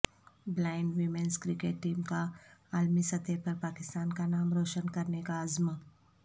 blind women's cricket team کا عالمی سطح پر پاکستان کا نام روشن کرنیکا عزم